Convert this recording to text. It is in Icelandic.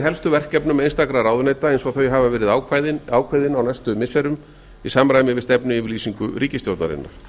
helstu verkefnum einstakra ráðuneyta eins og þau hafa verið ákveðin á næstu missirum í samræmi við stefnuyfirlkýsignu ríkisstjórnarinnar